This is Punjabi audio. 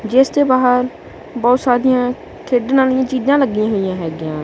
ਜਿਸ ਦੇ ਬਾਹਰ ਬਹੁਤ ਸਾਰੀਆਂ ਖੇਡਣ ਵਾਲੀਆਂ ਚੀਜ਼ਾਂ ਲੱਗੀਆਂ ਹੋਈਆਂ ਹੈਗੀਆਂ।